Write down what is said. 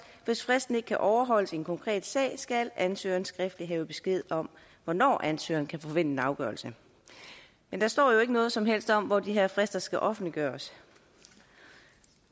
hvis fristen ikke kan overholdes i en konkret sag skal ansøgeren skriftligt have besked om hvornår ansøgeren kan forvente en afgørelse men der står jo ikke noget som helst om hvor de her frister skal offentliggøres